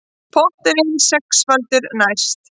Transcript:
Potturinn sexfaldur næst